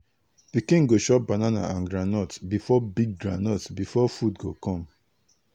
pikin go chop banana and groundnut before big groundnut before big food go come.